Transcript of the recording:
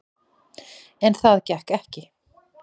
En það gekk ekki.